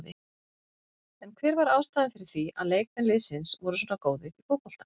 En hver var ástæðan fyrir því að leikmenn liðsins voru svona góðir í fótbolta?